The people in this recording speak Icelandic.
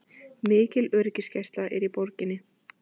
Mikil öryggisgæsla er í borginni